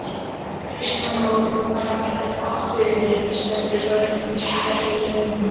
Kristján Már Unnarsson: Getur atvinnulífið, stendur það undir hærri launum?